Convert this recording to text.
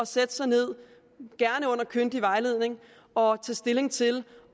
sætte sig ned gerne under kyndig vejledning og tage stilling til